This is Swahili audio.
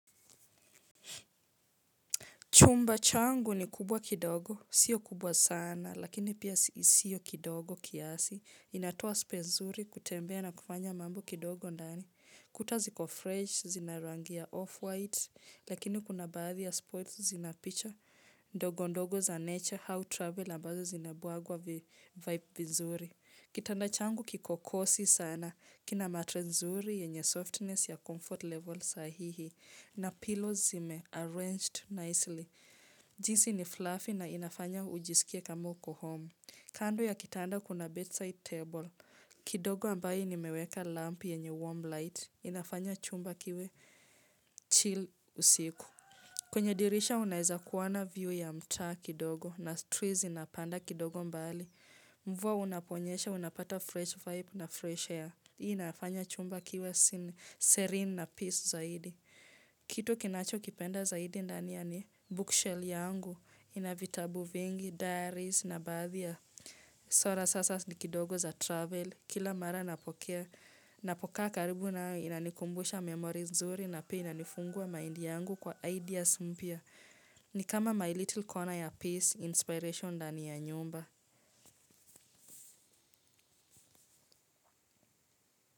Chumba changu ni kubwa kidogo, sio kubwa sana, lakini pia sio kidogo kiasi, linatoa space zuri kutembea na kufanya mambo kidogo ndani, kuta ziko fresh, zinarangi ya off-white, lakini kuna baadhi ya spots zina picha, ndogo ndogo za nature, au travel ambazo zinabuagwa vibe vizuri. Kitanda changu kiko cossy sana, kina mattress nzuri yenye softness ya comfort level sahihi, na pillows zime arranged nicely. Jinsi ni fluffy na inafanya ujisikie kamo uko home. Kando ya kitanda kuna bedside table. Kidogo ambayo nimeweka lamp yenye warm light. Inafanya chumba kiwe chill usiku. Kwenye dirisha unaweza kuona view ya mtaa kidogo na trees zinapanda kidogo mbali. Mvua unaponyesha unapata fresh vibe na fresh air. Hii inafanya chumba kiwe serene na peace zaidi. Kitu kinachokipenda zaidi ndani ya ni bookshelf yangu, ina vitabu vingi, diaries na baadhi ya sora sasa ni kidogo za travel. Kila mara napokea, napokaa karibu na inanikumbusha memory nzuri na pia inanifungua mind yangu kwa ideas mpya. Ni kama my little corner ya peace, inspiration ndani ya nyumba.